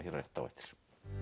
hér rétt á eftir